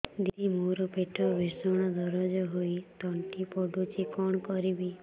ଦିଦି ମୋର ପେଟ ଭୀଷଣ ଦରଜ ହୋଇ ତଣ୍ଟି ପୋଡୁଛି କଣ କରିବି